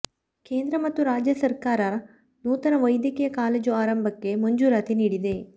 ಕೇಂದ್ರ ಮತ್ತು ರಾಜ್ಯ ಸಕರ್ಾರ ನೂತನ ವೈದ್ಯಕೀಯ ಕಾಲೇಜು ಆರಂಭಕ್ಕೆ ಮಂಜೂರಾತಿ ನೀಡಿದೆ